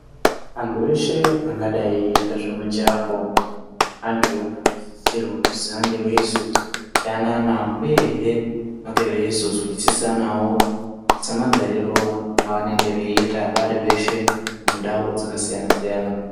Antu eshe angadai eita zvemijahwo anosisirwa kuti vange veizo yanana uyehe vange veizo zwisisisana wo semagariro evanenge veiita vari veshe mundau dzakasiyana siyana.